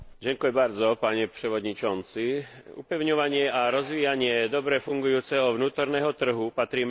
Upevňovanie a rozvíjanie dobre fungujúceho vnútorného trhu patrí medzi primárne záujmy a úlohy Únie.